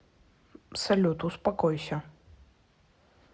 салют успокойся